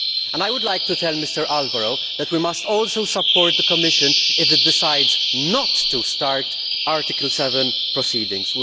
I would like to tell Mr Alvaro that we must also support the Commission if it decides not to start Article 7 proceedings.